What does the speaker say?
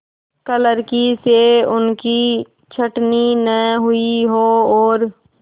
क्लर्की से उनकी छँटनी न हुई हो और